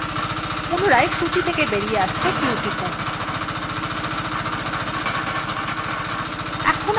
পুনরায় সূচী থেকে বাইরে আসতে q টিপুন